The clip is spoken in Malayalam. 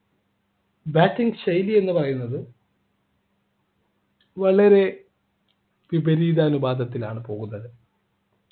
bating ശൈലി എന്ന് പറയുന്നത് വളരെ വിപരീത അനുപാതത്തിലാണ് പോകുന്നത്